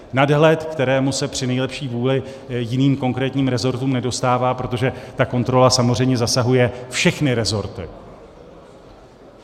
Nadhled, kterému se při nejlepší vůli jiným konkrétním resortům nedostává, protože ta kontrola samozřejmě zasahuje všechny resorty.